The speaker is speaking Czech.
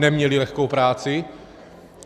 Neměli lehkou práci.